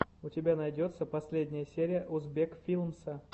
у тебя найдется последняя серия узбек филмса